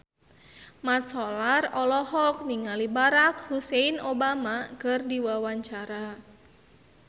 Mat Solar olohok ningali Barack Hussein Obama keur diwawancara